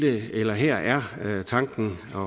her er tanken